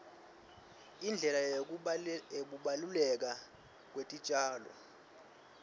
indlela yekubaluleka kwetitjalo